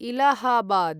Allahabad